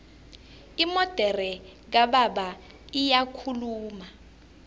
imodere kababa iyakhuluma